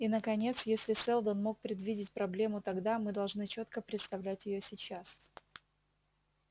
и наконец если сэлдон мог предвидеть проблему тогда мы должны чётко представлять её сейчас